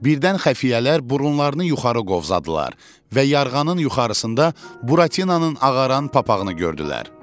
Birdən xəfiyyələr burunlarını yuxarı qovzadılar və yarğanın yuxarısında Buratinanın ağaran papağını gördülər.